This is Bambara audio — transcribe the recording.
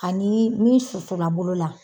Ani min susula bolo la.